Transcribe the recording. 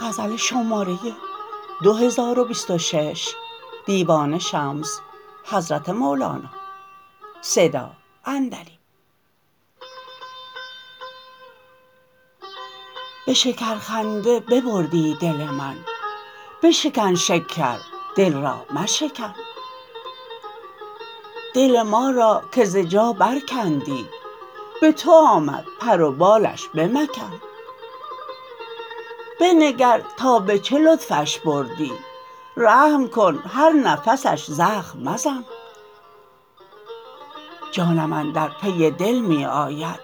به شکرخنده ببردی دل من بشکن شکر دل را مشکن دل ما را که ز جا برکندی به تو آمد پر و بالش بمکن بنگر تا به چه لطفش بردی رحم کن هر نفسش زخم مزن جانم اندر پی دل می آید